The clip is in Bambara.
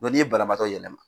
n'i ye banabaatɔ yɛlɛma